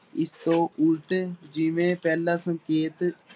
ਇਸ ਤੋਂ ਉਲਟ ਜਿਵੇਂ ਪਹਿਲਾਂ ਸੰਕੇਤ